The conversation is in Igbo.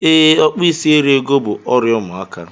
Ee, okpu ịsị eri ego bú ọrịa ụmụaka.